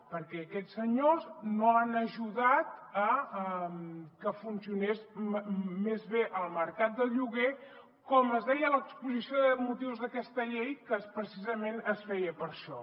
perquè aquests senyors no han ajudat a que funcionés més bé el mercat de lloguer com es deia a l’exposició de motius d’aquesta llei que precisament es feia per això